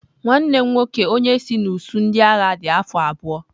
Nwanne m nwoke onye isi n'usuu ndị agha dị afọ abụọ.